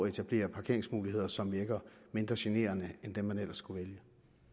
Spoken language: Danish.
etablere parkeringsmuligheder som virker mindre generende end dem man ellers kunne vælge